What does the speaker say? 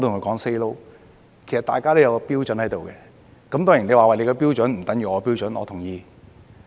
其實，大家都有一個標準，當然你說你的標準不等於我的標準，我同意。